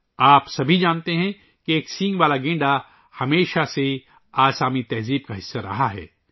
آپ سب جانتے ہیں کہ ایک سینگ والا گینڈا ہمیشہ سے آسامی ثقافت کا حصہ رہا ہے